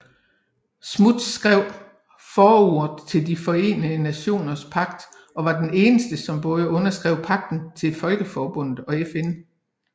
Smuts skrev forordet til De Forenede Nationers Pagt og var den eneste som både underskrev pagterne til Folkeforbundet og FN